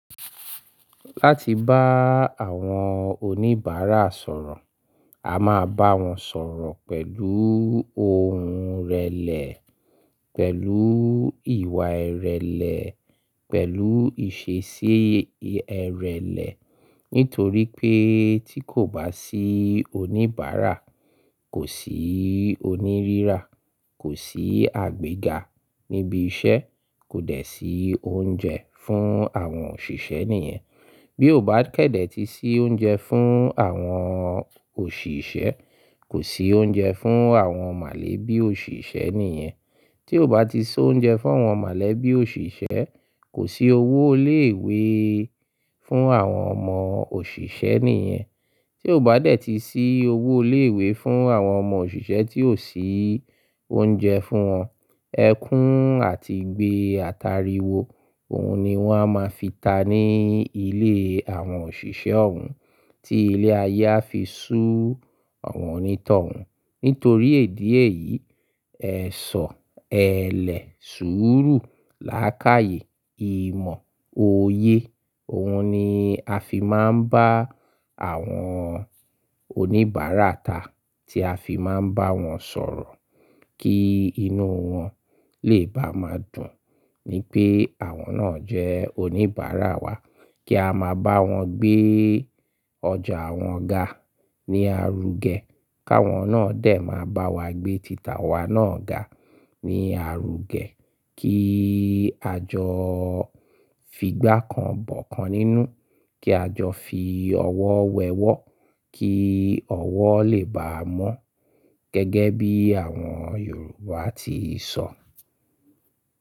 Láti bá àwọn oníbàárà sọ̀rọ̀, a máa bá wọn sọ̀rọ̀ pẹ̀lú ohùn ìrẹ̀lẹ̀, pẹ̀lú ìwà ìrẹ̀lẹ̀, pẹ̀lú ìṣesí ìrẹ̀lẹ̀. Nítorí pé tí kò bá sí oníbàárà, kò sí onírírà, kò sí àgbega níbi iṣẹ́, kò dẹ̀ sí oúnjẹ fún àwọn òṣìṣẹ́ nìyẹn. Bí o bá kẹ̀dẹ̀ ti sí oúnjẹ fún àwọn òṣìṣẹ́, kò sí oúnjẹ fún àwọn mọ̀lẹ́bí òṣìṣẹ́ nìyẹn. Tí o bá ti so oúnjẹ fún àwọn mọ̀lẹ́bí òṣìṣẹ́, kò sí owó ilé ìwé fún àwọn ọmọ òṣìṣẹ́ nìyẹn. Tí o bá dẹ̀ ti sí owó ilé ìwé fún àwọn ọmọ òṣìṣẹ́ tí ò sí oúnjẹ fún wọn, ẹkún àti igbé atariwo, òhun ni wọn a máa fi ta ní ilé àwọn òṣìṣẹ́ òun, tí ilé-ayé a fi sú àwọn onítọ̀hún. Nítorí idi eyi, ẹ̀ṣọ́, ẹlẹ̀, sùúrù, láákàyè, ìmọ̀, oyé, òhun ni a fi máa ń bá àwọn oníbàárà ta, tí a fi máa ń bá wọn sọ̀rọ̀ kí inú wọn lè bá máa dùn wipé àwọn náà jẹ́ oníbàárà wa, kí a máa bá wọn gbé ọjà wọn ga ní arugẹ́, káwọn náà dẹ̀ máa bá wa gbé títà wa náà ga ní arugẹ́, kí àjọ fi gbákan bọ̀kan nínú, kí àjọ fi ọwọ́ wẹ ọwọ́ kí ọwọ́ lè ba à mọ́, gẹ́gẹ́ bí àwọn Yorùbá ti sọ.